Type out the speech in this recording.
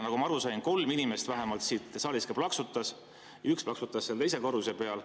Nagu ma aru sain, vähemalt kolm inimest siin saalis ka plaksutas, üks plaksutas seal teise korruse peal.